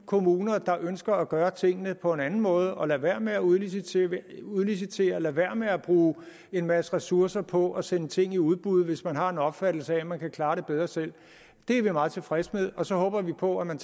kommuner der ønsker at gøre tingene på en anden måde kan lade være med at udlicitere udlicitere lade være med at bruge en masse ressourcer på at sende ting i udbud hvis man har en opfattelse af at man kan klare det bedre selv det er vi meget tilfredse med og så håber vi på at man